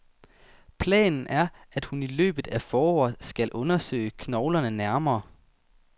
Planen er, at hun i løbet af foråret skal undersøge knoglerne nærmere.